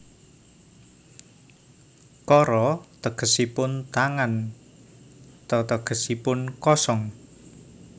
Kara tegesipun tangan te tegesipun kosong